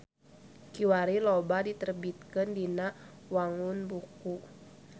Kiwari loba diterbitkeun dina wangun buku.